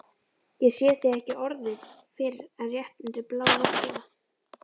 Ég sé þig ekki orðið fyrr en rétt undir blánóttina.